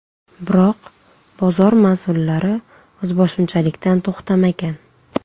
Biroq bozor mas’ullari o‘zboshimchalikdan to‘xtamagan.